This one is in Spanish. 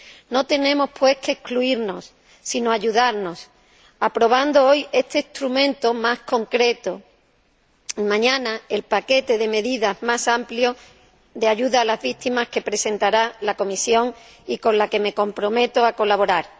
No tenemos, pues, que excluirnos, sino ayudarnos, aprobando hoy este instrumento más concreto y, mañana, el paquete de medidas más amplio de ayuda a las víctimas que presentará la Comisión, con la que me comprometo a colaborar.